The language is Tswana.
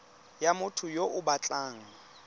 ya motho yo o batlang